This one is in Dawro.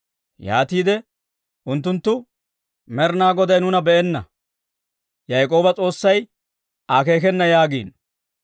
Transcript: Yaatiide unttunttu, «Med'inaa Goday nuuna be'enna; Yaak'ooba S'oossay akeekena» yaagiino.